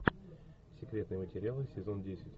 секретные материалы сезон десять